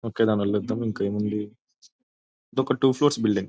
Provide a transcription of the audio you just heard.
అక్కడ మళ్ళీ వద్దాము ఇంకేముంది. ఇదొక టూ ఫ్లోర్స్ బిల్డింగ్ .